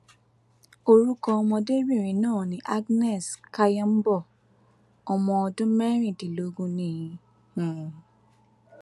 orúkọ ọmọdébìnrin náà ni agnes kayombo ọmọ ọdún mẹrìndínlógún ni um